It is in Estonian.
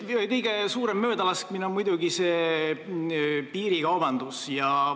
Kõige suurem möödalaskmine on muidugi see piirikaubandus.